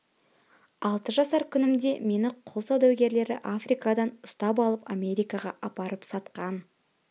алты жасар күнімде мені құл саудагерлері африкадан ұстап алып америкаға апарып сатқан